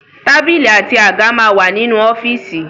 Tábìlì àti àga máa wà nínú ọ́fíìsì.